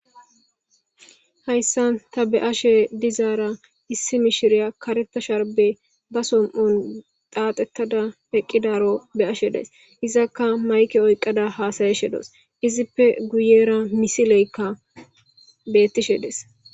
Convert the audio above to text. Haysan ta be'ashe dizara issi mishiriya karetha sharbe ba som'on dhadhetada eqidaro be'ashe days izaka mayke oyqada hasa'ashe dawus izipe guyera missileka betishe des.